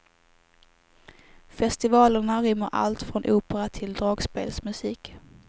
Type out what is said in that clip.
Festivalerna rymmer allt från opera till dragspelsmusik.